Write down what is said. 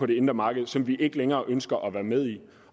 det indre marked som vi ikke længere ønsker at være med i